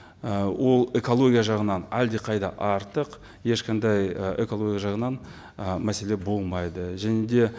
ы ол экология жағынан әлдеқайда артық ешқандай ы экология жағынан ы мәселе болмайды және де